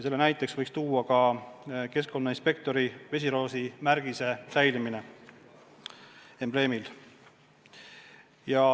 Seda peaks kinnitama ka see, et keskkonnainspektori embleemile jääb vesiroosi kujutis.